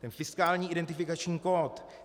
Ten fiskální identifikační kód.